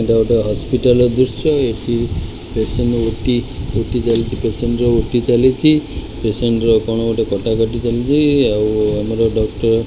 ଏଇଟା ଗୋଟେ ହସ୍ପିଟାଲ ର ଦୃଶ୍ୟ। ଏଠି ପେସେଣ୍ଟ ଓ_ଟି ଓ_ଟି ଚାଲିଛି ପେସେଣ୍ଟ ଓ_ଟି ଚାଲିଛି ପେସେଣ୍ଟ ର କଣ ଗୋଟେ କଟାକାଟି ଚାଲିଚି‌। ଆଉ ଆମର ଡକ୍ଟର --